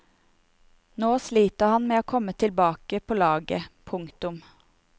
Nå sliter han med å komme tilbake på laget. punktum